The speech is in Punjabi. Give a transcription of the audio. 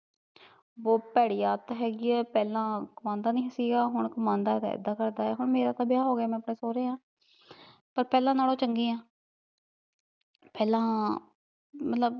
ਬਹੁਤ ਭੇੜਿ ਆਦਤ ਹੈਗੀ ਐ, ਪਹਿਲਾਂ ਕਮਾਉਂਦਾ ਨੀ ਸੀਗਾ, ਹੁਣ ਕਮਾਉਂਦਾ ਐ ਤਾਂ ਏਦਾ ਕਰਦਾ ਐ, ਹੁਣ ਮੇਰਾ ਤਾਂ ਵਿਆਹ ਹੋਗਿਆ ਮੈਂ ਆਪਣੇ ਸੋਹਰੇ ਆ ਪਰ ਪਹਿਲਾਂ ਨਾਲੋਂ ਚੰਗੀ ਆ ਪਹਿਲਾਂ ਮਤਲਬ